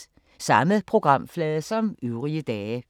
Samme programflade som øvrige dage